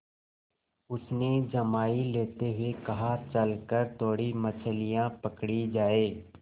उसने जम्हाई लेते हुए कहा चल कर थोड़ी मछलियाँ पकड़ी जाएँ